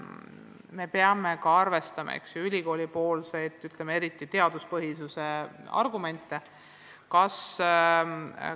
Me peame arvestama ka ülikoolipoolseid, eriti erialaga seonduvaid teaduspõhisuse argumente.